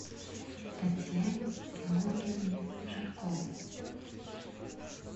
татьяне георгиевне жарковой